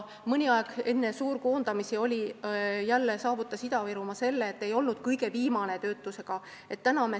Mõni aeg enne suurkoondamisi saavutas Ida-Virumaa selle, et ta ei olnud töötuse poolest kõige viimane.